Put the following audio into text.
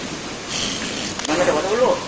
ma'am একটা কথা বলবো?